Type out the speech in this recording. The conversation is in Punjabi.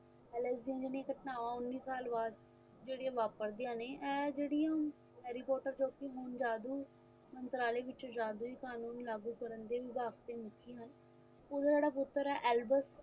alexzen ਦੀ ਘਟਨਾਵਾਂ ਉੱਨੀ ਸਾਲ ਬਾਅਦ ਜਿਹੜੀਆਂ ਵਾਦੀਆਂ ਨੇ ਇਹ ਜਿਹੜੀ ਹੁਣ harry potter ਜੋ ਕਿ ਹੁਣ ਜਾਦੂ ਮੰਤਰਾਲੇ ਵਿੱਚ ਜਾਦੂਈ ਕਾਨੂਨ ਲਾਗੂ ਕਰਨ ਦੇ ਵਿਭਾਗ ਦੇ ਮੁਖੀ ਹਨ ਉਹਦਾ ਜਿਹੜਾ ਪੁੱਤਰ ਹੈਂ albert